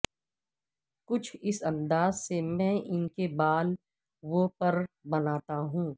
کچھ اس انداز سے میں ان کے بال و پر بناتا ہوں